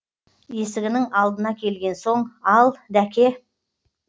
есігінің алдына келген соң ал дәке